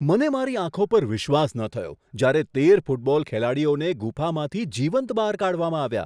મને મારી આંખો પર વિશ્વાસ ન થયો જ્યારે તેર ફૂટબોલ ખેલાડીઓને ગુફામાંથી જીવંત બહાર કાઢવામાં આવ્યા.